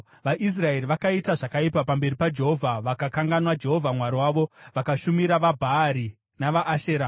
VaIsraeri vakaita zvakaipa pamberi paJehovha; vakakanganwa Jehovha Mwari wavo vakashumira vaBhaari navaAshera.